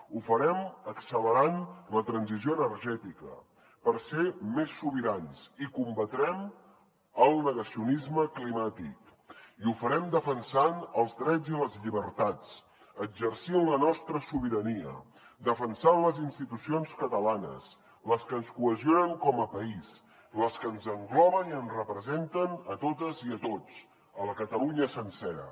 ho farem accelerant la transició energètica per ser més sobirans i combatrem el negacionisme climàtic i ho farem defensant els drets i les llibertats exercint la nostra sobirania defensant les institucions catalanes les que ens cohesionen com a país les que ens engloben i ens representen a totes i a tots a la catalunya sencera